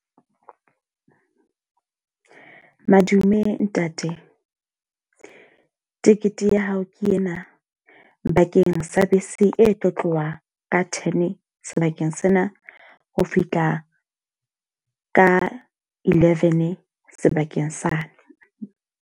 Madume ntate, ticket ya hao ke ena bakeng sa bese e tlo tloha ka ten sebakeng sena ho fihla ka eleven sebakeng sa ne.